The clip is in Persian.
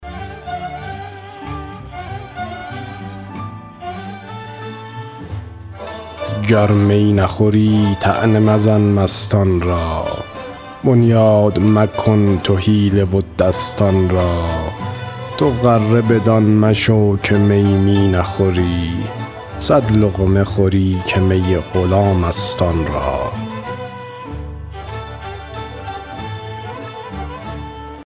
گر می نخوری طعنه مزن مستان را بنیاد مکن تو حیله و دستان را تو غره بدان مشو که می می نخوری صد لقمه خوری که می غلام است آن را